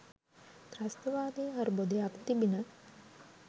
ත්‍රස්තවාදී අර්බුදයක් තිබිණ.